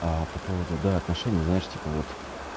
а по поводу да отношений знаешь типа вот